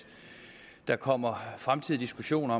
der kommer fremtidige diskussioner